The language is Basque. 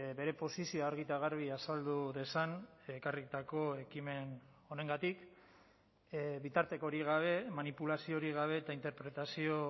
bere posizioa argi eta garbi azaldu dezan ekarritako ekimen honengatik bitartekorik gabe manipulaziorik gabe eta interpretazio